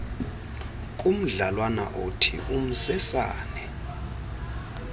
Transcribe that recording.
kumdlalwana othi umsesane